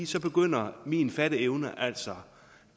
så begynder min fatteevne altså